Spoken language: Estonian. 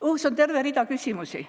Õhus on terve rida küsimusi.